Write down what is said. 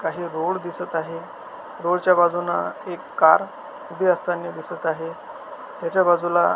काही रोड दिसत आहेत रोड च्या बाजुन एक कार उभी असतानी दिसत आहे त्याच्या बाजुला--